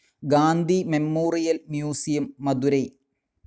Gandhi memorial museum, Madurai.